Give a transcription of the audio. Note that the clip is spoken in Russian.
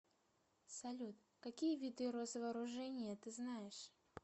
салют какие виды росвооружение ты знаешь